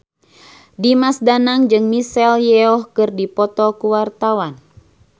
Dimas Danang jeung Michelle Yeoh keur dipoto ku wartawan